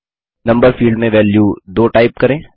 number field में value 2 type करें